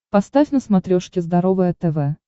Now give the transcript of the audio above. поставь на смотрешке здоровое тв